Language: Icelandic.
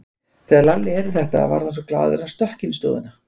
Þegar Lalli heyrði þetta varð hann svo glaður að hann stökk inn í stofuna.